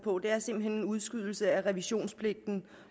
på det er simpelt hen en udskydelse af revisionspligten